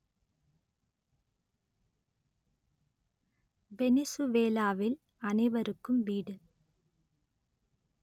வெனிசுவேலாவில் அனைவருக்கும் வீடு